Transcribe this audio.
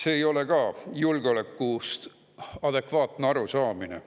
See ei ole ka julgeolekust adekvaatne arusaamine.